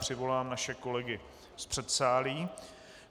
Přivolám naše kolegy z předsálí.